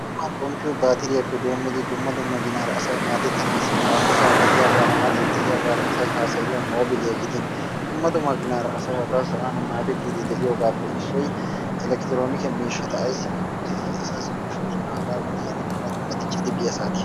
Xuman xomppiyo baatiriyappe doommidi dumma dumma ginaara asay maaddetanassi haahosan de'iyaagara mattan de'iyaagara asay haassayiyyo mobiliyaa gidin dumma dumma ginaara asay hagaa sa'aan maaddetidi de'iyoogappe issoy elektronike miishshata. Ayssi giikko keehi asaassi koshshosona. Hagaa wodiyan dumma dumma dicci biya saatiyan.